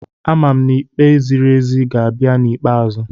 Amam n'ikpe ziri ezi ga-abịa n'ikpeazụ.